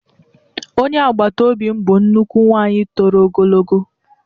Onye agbata obi m bụ nnukwu nwanyị toro ogologo